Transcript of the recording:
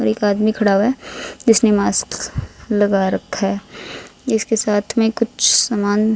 और एक आदमी खड़ा हुआ है जिसने मास्क लगा रखा है इसके साथ में कुछ सामान--